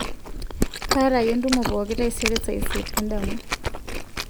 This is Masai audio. kaata ake entumo pooki taisere saa isiet endama